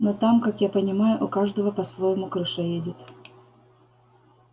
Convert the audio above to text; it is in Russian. но там как я понимаю у каждого по-своему крыша едет